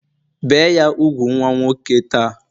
Bee ya úgwù nwa nwoke ta!